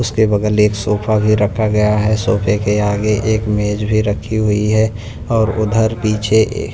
उसके बगल एक सोफा भी रखा गया है सोफे के आगे एक मेज भी रखी हुई है और उधर पीछे--